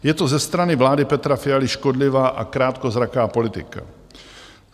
Je to ze strany vlády Petra Fialy škodlivá a krátkozraká politika.